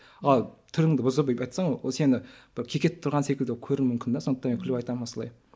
ал түріңді бұзып айтсаң ол сені бір кекетіп тұрған секілді көруі мүмкін де сондықтан мен күліп айтамын осылай